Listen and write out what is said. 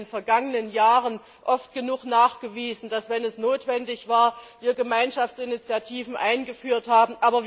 Wir haben in den vergangenen Jahren oft genug bewiesen, dass wir, wenn es notwendig war, Gemeinschaftsinitiativen eingeführt haben.